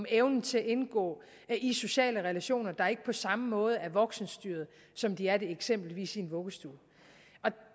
evnen til at indgå i sociale relationer der ikke på samme måde er voksenstyret som de er det eksempelvis i en vuggestue